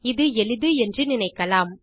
இது எளிது என்று நினைக்கலாம்